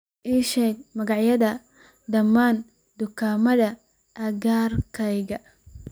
ii sheeg magacyada dhammaan dukaamada agagaarkayga